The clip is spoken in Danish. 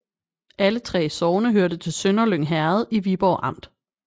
Alle 3 sogne hørte til Sønderlyng Herred i Viborg Amt